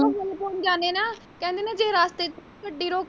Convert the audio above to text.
ਫੁੱਲ ਪਾ ਜਾਨੇ ਆਂ ਨਾ ਕਹਿੰਦੇ ਜੇ ਰਸਤੇ ਚ ਗੱਡੀ ਰੋਕੋ।